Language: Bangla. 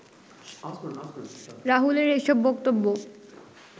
রাহুলের এসব বক্তব্য